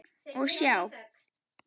Og sjá!